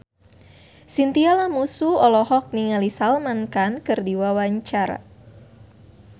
Chintya Lamusu olohok ningali Salman Khan keur diwawancara